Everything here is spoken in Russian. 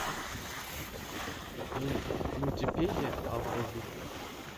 мультипедия алфавиты